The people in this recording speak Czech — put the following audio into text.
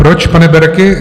Proč, pane Berki?